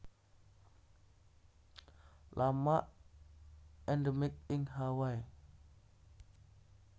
Lama endemik ing Hawaii